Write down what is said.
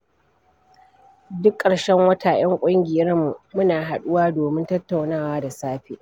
Duk ƙarshen wata 'ya ƙungiyarmu muna haɗuwa domin tattaunawa da safe.